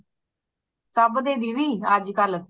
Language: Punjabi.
ਸਭ ਦੇ ਦੀਦੀ ਅੱਜ ਕੱਲ